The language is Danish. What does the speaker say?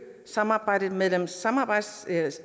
samarbejdet mellem samarbejdet